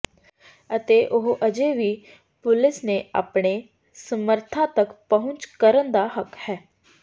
ਅਤੇ ਉਹ ਅਜੇ ਵੀ ਪੁਲਿਸ ਨੇ ਆਪਣੇ ਸਮਰੱਥਾ ਤੱਕ ਪਹੁੰਚ ਕਰਨ ਦਾ ਹੱਕ ਹੈ